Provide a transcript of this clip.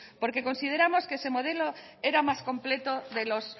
porque consideramos que ese modelo era el más completo de los